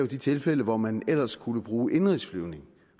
de tilfælde hvor man ellers skulle bruge indenrigsflyvning